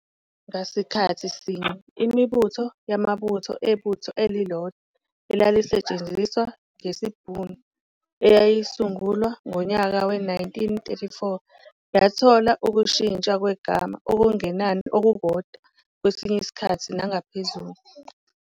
Ngasikhathi sinye, imibutho yamabutho ebutho elilodwa elalisetshenziswa ngesiBhunu eyasungulwa ngonyaka we-1934 yathola ukushintshwa kwegama okungenani okukodwa kwesinye isikhathi nangaphezulu.